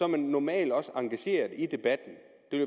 man normalt også engageret i det